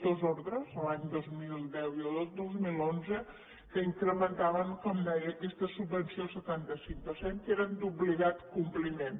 dues ordres l’any dos mil deu i el dos mil onze que incrementaven com deia aquesta subvenció al setanta cinc per cent que eren d’obligat compliment